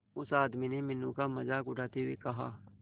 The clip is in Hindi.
उस आदमी ने मीनू का मजाक उड़ाते हुए कहा